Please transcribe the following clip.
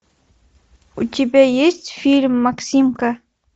у тебя есть фильм максимка